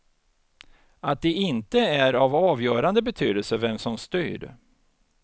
Att det inte är av avgörande betydelse vem som styr.